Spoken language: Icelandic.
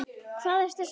Hvað ertu að segja?